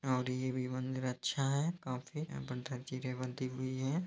और ये भी मंदिर अच्छा है काफी यहाँ पर जंजीरे बंधी हुई है।